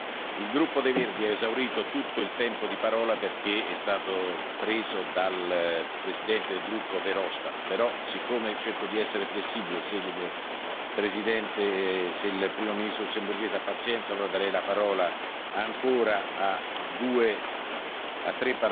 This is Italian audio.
Il gruppo dei Verdi ha esaurito tutto il tempo di parola perché è stato preso dal presidente del gruppo Verhofstadt, però siccome cerco di essere flessibile, se il Primo ministro lussemburghese ha pazienza, ora darei la parola ancora a tre